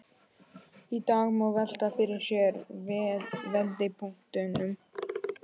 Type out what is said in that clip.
Í dag má velta fyrir sér vendipunktinum.